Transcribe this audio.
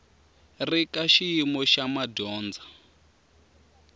ri ka xiyimo xa madyondza